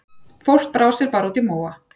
Fólk brá sér bara út í móa.